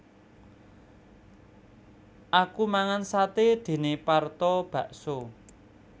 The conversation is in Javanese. Aku mangan sate dene Parto bakso